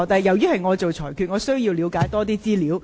現時是由我作裁決，我要了解多一點資料。